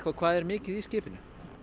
hvað er mikið í skipinu